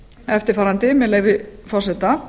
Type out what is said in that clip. eftirfarandi með leyfi forseta